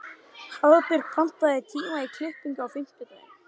Hafbjörg, pantaðu tíma í klippingu á fimmtudaginn.